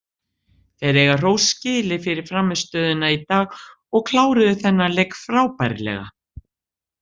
Þeir eiga hrós skilið fyrir frammistöðuna í dag og kláruðu þennan leik frábærlega.